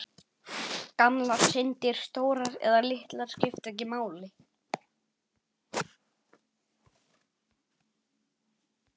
Gamlar syndir, stórar eða litlar, skipta ekki máli.